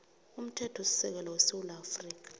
umthethosisekelo wesewula afrika